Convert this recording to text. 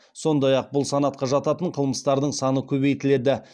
сондай ақ бұл санатқа жататын қылмыстардың саны көбейтіледі